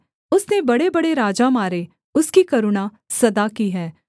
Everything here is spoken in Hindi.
उसने बड़ेबड़े राजा मारे उसकी करुणा सदा की है